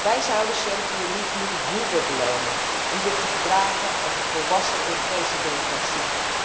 Wij zouden Servië niet moeten hoeven belonen om zich te gedragen als een volwassen Europese democratie.